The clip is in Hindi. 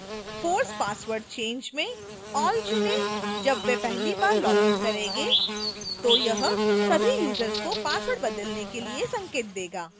force password change में all चुनें जब वे पहली बार login करेंगे तो यह सभी यूजर्स को password बदलने के लिए संकेत देगा